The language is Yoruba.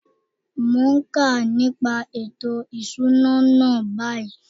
Mo n ka nípa ètò ìṣúná náà báyìí.